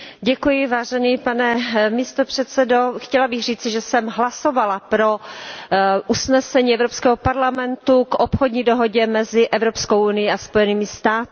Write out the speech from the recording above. Pane předsedající, chtěla bych říci, že jsem hlasovala pro usnesení Evropského parlamentu o obchodní dohodě mezi Evropskou unií a Spojenými státy americkými.